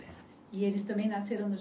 E eles também nasceram no